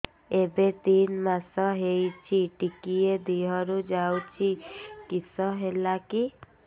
ଏବେ ତିନ୍ ମାସ ହେଇଛି ଟିକିଏ ଦିହରୁ ଯାଉଛି କିଶ ହେଲାକି